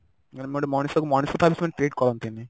ମାନେ ଗୋଟେ ମଣିଷ କୁ ମଣିଷ treat କରନ୍ତିନି